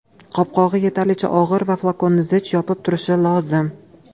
Qopqog‘i yetarlicha og‘ir va flakonni zich yopib turishi lozim.